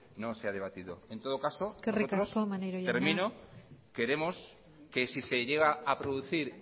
no se ha debatido eskerrik asko maneiro jauna termino en todo caso queremos que si se llega a producir